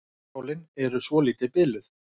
Heyrnartólin eru svolítið biluð.